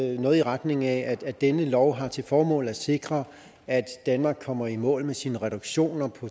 i retning af at denne lov har til formål at sikre at danmark kommer i mål med sine reduktioner